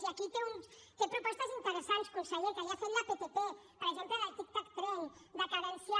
i aquí té propostes interessants conseller que li ha fet la ptp per exemple del tic tac tren de cadenciar